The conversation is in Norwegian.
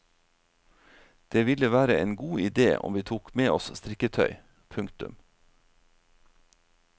Det ville være en god idé om vi tok med oss strikketøy. punktum